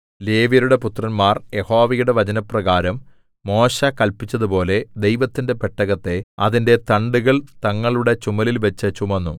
ലേവ്യരുടെ പുത്രന്മാർ യഹോവയുടെ വചനപ്രകാരം മോശെ കല്പിച്ചതുപോലെ ദൈവത്തിന്റെ പെട്ടകത്തെ അതിന്റെ തണ്ടുകൾ തങ്ങളുടെ ചുമലിൽ വച്ചു ചുമന്നു